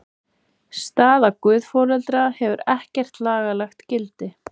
Staða guðforeldra hefur ekkert lagalegt gildi.